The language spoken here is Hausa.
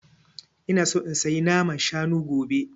Ina so in saya naman shanu gobe